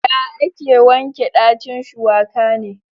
Ya ake wanke ɗacin shuwaka ne?